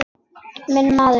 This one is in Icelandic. Minn maður.